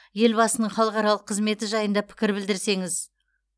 елбасының халықаралық қызметі жайында пікір білдірсеңіз